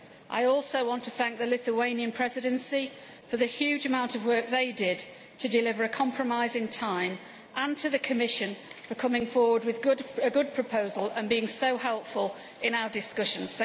I also want to thank the Lithuanian Presidency for the huge amount of work it did to deliver a compromise in time, and to the Commission for coming forward with a good proposal and being so helpful in our discussions.